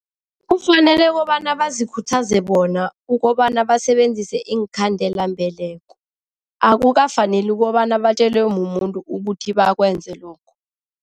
Kufanele kobana bazikhuthaze bona ukobana basebenzise iinkhandelambeleko, akukafaneli kobana batjelwe mumuntu ukuthi bakwenza lokho.